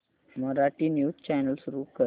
Marathi news channel सुरू कर